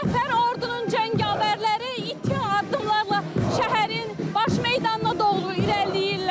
Müzəffər ordunun cəngavərləri iti addımlarla şəhərin baş meydanına doğru irəliləyirlər.